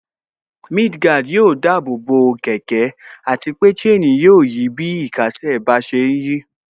Mudguard yóò dáàbò bo kẹ̀kẹ́ àti pé chain yóò yí bí ìkésè sí bá ṣe ń yí